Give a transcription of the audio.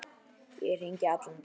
Ég hringi allan daginn.